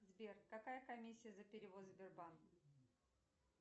сбер какая комиссия за перевод сбербанк